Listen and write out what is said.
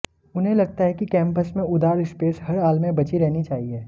उन्हें लगता है कि कैंपस में उदार स्पेस हर हाल में बची रहनी चाहिए